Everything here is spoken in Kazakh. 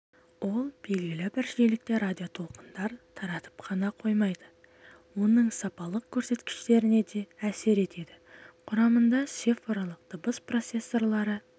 ол белгілі бір жиілікте радиотолқындар таратып қана қоймайды оның сапалық көрсеткіштеріне де әсер етеді құрамында цифрлық дыбыс процессорлары